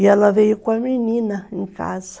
E ela veio com a menina em casa.